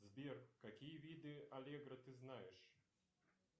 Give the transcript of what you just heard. сбер какие виды аллегро ты знаешь